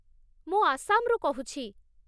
ମୁଁ ଆସାମରୁ କହୁଛି ।